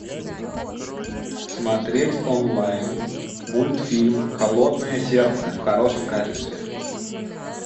смотреть онлайн мультфильм холодное сердце в хорошем качестве